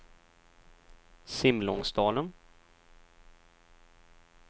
Simlångsdalen